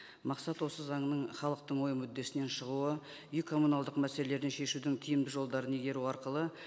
мақсат осы заңның халықтың ой мүддесінен шығуы үй коммуналдық мәселелерін шешудің тиімді жолдарын игеру арқылы